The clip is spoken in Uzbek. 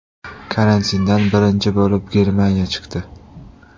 Karantindan birinchi bo‘lib, Germaniya chiqdi.